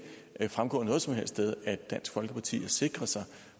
at det fremgår noget som helst sted at dansk folkeparti har sikret sig